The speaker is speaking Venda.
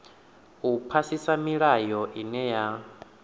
u phasisa milayo ine ya